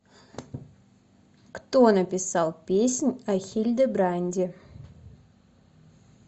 кто написал песнь о хильдебранде